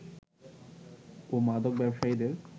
ও মাদক ব্যবসায়ীদের